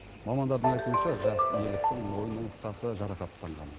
мамандардың айтуынша жас еліктің мойын омыртқасы жарақаттанған